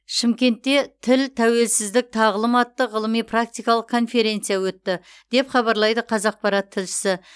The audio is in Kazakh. шымкентте тіл тәуелсіздік тағылым атты ғылыми практикалық конференция өтті деп хабарлайды қазақпарат тілшісі